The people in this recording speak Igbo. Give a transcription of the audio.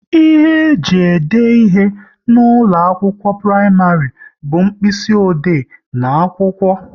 Ihe ji ede ihe n'ụlọ akwụkwọ praịmarị bu mkpịsị ode n'akwụkwọ